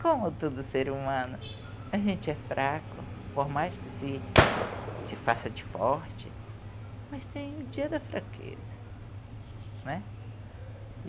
Como todo ser humano, a gente é fraco, por mais que se se faça de forte, mas tem o dia da fraqueza, né?